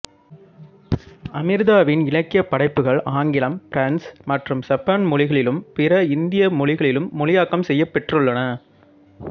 அம்ரிதாவின் இலக்கியப் படைப்புகள் ஆங்கிலம் பிரெஞ்சு மற்றும் சப்பான் மொழிகளிலும் பிற இந்திய மொழிகளிலும் மொழியாக்கம் செய்யப் பெற்றுள்ளன